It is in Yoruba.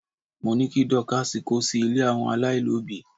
mo ni kí Dorcas ko sí ilè àwọn alailobi